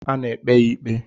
A na-ekpe ya ikpe.